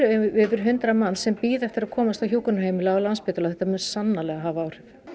yfir hundrað manns sem bíða eftir því að komast á hjúkrunarheimili á Landspítala og þetta mun sannarlega hafa áhrif